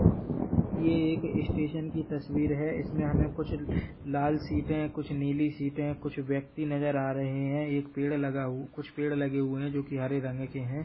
ये एक स्टेशन की तस्वीर है इसमें हमे कुछ लाल सीटे कुछ नीली सीटे कुछ व्यक्ति नजर आरहै है एक पेड़ लगा हुए कुछ पेड़ लगे हुए है जो की हरे रंग के है।